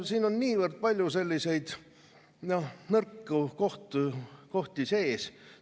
Siin on niivõrd palju selliseid nõrku kohti sees.